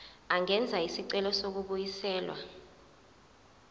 angenza isicelo sokubuyiselwa